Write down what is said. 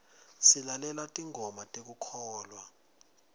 silalela tingoma tekukholwa